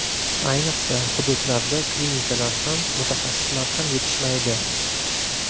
Ayniqsa, hududlarda klinikalar ham, mutaxassislar ham yetishmaydi.